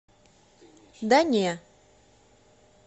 да не